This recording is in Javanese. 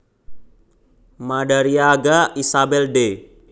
Madariaga Isabel de